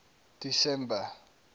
december